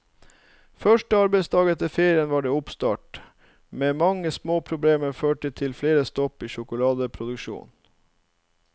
Første arbeidsdag etter ferien var det oppstart, men mange småproblemer førte til flere stopp i sjokoladeproduksjonen.